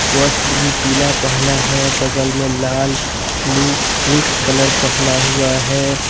वस्त्र भी पीला पहना है बगल में लाल ब्लू मिक्स कलर पहना हुआ है।